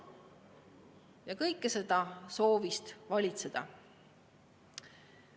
Ja kõike seda soovist valitseda.